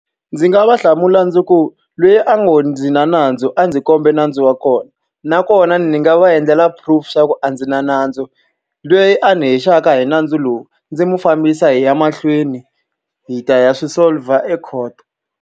Ndzi nga va hlamula ndzi ku loyi a ngo ndzi na nandzu a ndzi kombe nandzu wa kona, nakona ni nga va endlela proof xa ku a ndzi na nandzu. Loyi a ni hehlaka hi nandzu lowu, ndzi n'wi fambisa hi ya mahlweni hi ta ya swi solve-a e court.